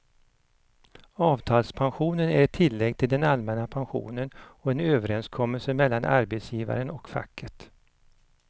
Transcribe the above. Avtalspensionen är ett tillägg till den allmänna pensionen och en överenskommelse mellan arbetsgivaren och facket.